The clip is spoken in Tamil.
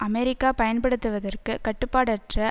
அமெரிக்கா பயன்படுத்துதற்கு கட்டுப்பாடற்ற